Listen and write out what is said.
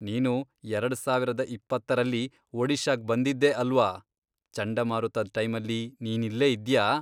ನೀನು ಎರಡ್ ಸಾವರದ್ ಇಪ್ಪತ್ತರಲ್ಲಿ, ಒಡಿಶಾಗ್ ಬಂದಿದ್ದೆ ಅಲ್ವಾ, ಚಂಡಮಾರುತದ್ ಟೈಮಲ್ಲಿ ನೀನಿಲ್ಲೇ ಇದ್ಯಾ?